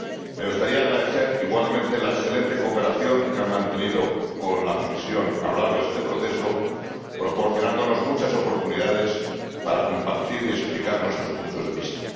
Me gustaría agradecer igualmente la excelente cooperación que han mantenido con la Comisión a lo largo de este proceso, proporcionándonos muchas oportunidades para compartir y explicar nuestros puntos de vista.